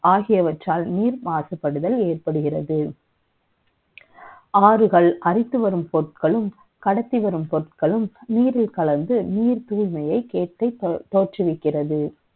ஆகியவற்றால் நீர் மாசுபடுதல் ஏற்படுகிறது ஆறுகள் அடித்து வரும் பொருட்களும் கடத்தி வரும் பொருட்களும் நீரில் கலந்து நீர் தூய்மையை கேட்டு தோற்றுவிக்கிறது